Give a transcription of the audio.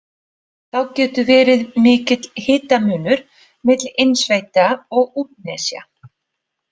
Þá getur verið mikill hitamunur milli innsveita og útnesja.